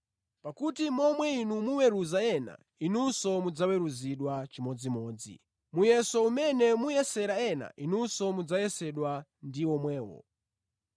Pakuti momwe inu muweruzira ena, inunso mudzaweruzidwa chimodzimodzi, muyeso umene muyesera ena inunso mudzayesedwa ndi womwewo.